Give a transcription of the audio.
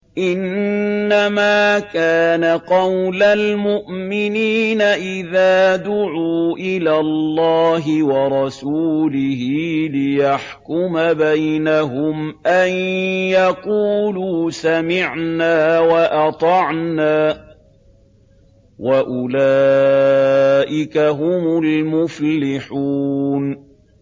إِنَّمَا كَانَ قَوْلَ الْمُؤْمِنِينَ إِذَا دُعُوا إِلَى اللَّهِ وَرَسُولِهِ لِيَحْكُمَ بَيْنَهُمْ أَن يَقُولُوا سَمِعْنَا وَأَطَعْنَا ۚ وَأُولَٰئِكَ هُمُ الْمُفْلِحُونَ